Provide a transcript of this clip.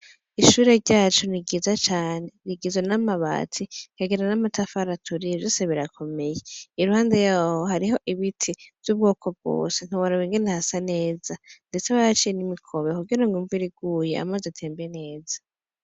Ishure ryacu niryiza cane, rigizwe n' amabati rikagira n 'amatafari aturiye, vyose birakomeye iruhande yaho hariho ibiti vyubwoko bwose ntiworaba ingene hasa neza ndetse barahaciye n' imikobero kugira imvura iguye amazi atembe neza.